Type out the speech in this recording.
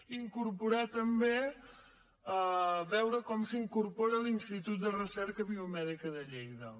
i incorporar hi també veure com s’hi incorpora l’institut de recerca biomèdica de lleida